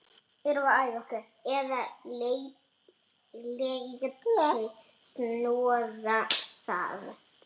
Eða léti snoða það.